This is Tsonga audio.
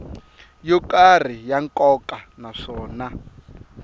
yo karhi ya nkoka naswona